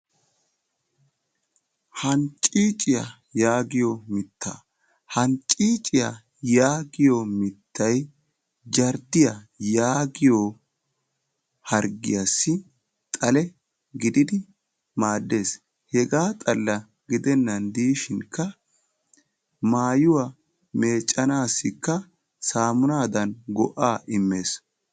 Hanccicciyaa yaagiyo mitta. Hanccicciya yaagiyo mittay jarddiya yaagiyo harggiyassi xale gididi maaddees. Hega xalla gidenan dishin maayyuwa meeccanassikka saamunaddan go"a immees.